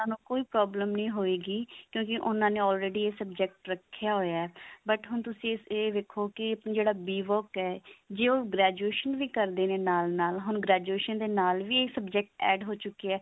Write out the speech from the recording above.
ਉਹਨਾਂ ਨੂੰ ਕੋਈ problem ਨੀ ਹੋਏਗੀ ਕਿਉਂਕਿ ਉਹਨਾਂ ਨੇ already ਇਹ subject ਰੱਖਿਆ ਹੋਇਆ but ਹੁਣ ਤੁਸੀਂ ਇਹ ਵੇਖੋ ਕੀ ਜਿਹੜਾ b work ਹੈ ਜੇ ਉਹ graduation ਵੀ ਕਰਦੇ ਨੇ ਨਾਲ ਨਾਲ ਹੁਣ graduation ਦੇ ਨਾਲ ਵੀ subject add ਹੋ ਚੁਕੇ ਆ